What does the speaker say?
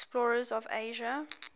explorers of asia